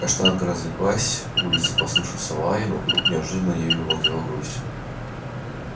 каштанка разлеглась на матрасике и закрыла глаза с улицы послышался лай и она хотела ответить на него но вдруг неожиданно ею овладела грусть